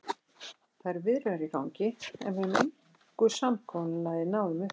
Það eru viðræður í gangi, en við höfum engu samkomulagi náð um upphæðir.